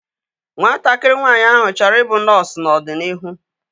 Nwatakịrị nwaanyị áhụ̀ chọrọ i bụ nọọsu n'ọdịnihu